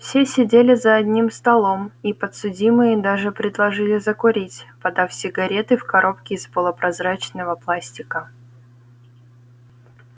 все сидели за одним столом и подсудимые даже предложили закурить подав сигареты в коробке из полупрозрачного пластика